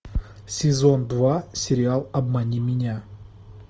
сезон два сериал обмани меня